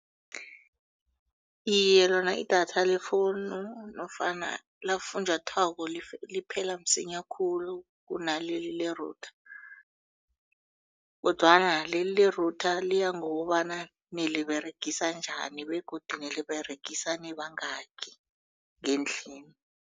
Iye, lona idatha le-phone nofana lakafunjathwako liphela msinya khulu kunaleli li-router kodwana leli le-router liya ngokobana niliberegisa njani begodu niliberegisane nibangaki ngendlini.